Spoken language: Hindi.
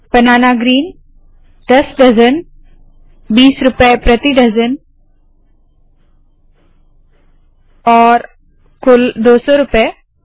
बनाना ग्रीन दस डज़न बीस रूपए प्रति डज़न और कुल दो सौ रूपए